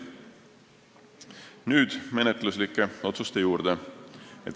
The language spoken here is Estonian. Nüüd menetluslike otsuste juurde.